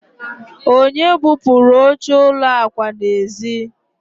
onye bupuru oche ụlọ akwa n'ezi?